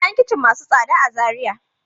Akawai kayan kicin masu tsada a Zariya.